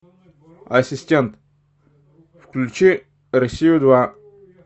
ассистент включи россию два